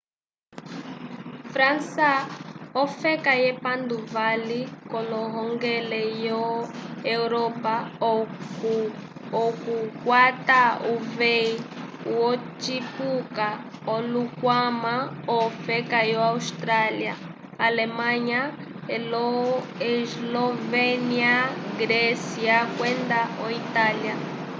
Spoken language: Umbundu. frança ofeka yepanduvali k'ohongele lyo europa okukwata uveyi wocipuka okukwama ofeka yo áustria alemanha eslovénia grécia kwenda o itália